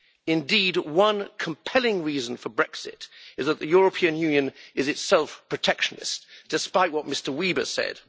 Indeed, one compelling reason for Brexit is that the European Union is itself protectionist, despite what Mr Weber said.